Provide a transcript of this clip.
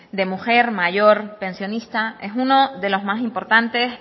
de mujer mayor pensionistas es uno de los más importantes